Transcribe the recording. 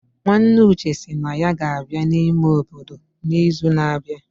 Nwanne Uche sị na ya ga-abịa n'ime obodo n'izu na-abịa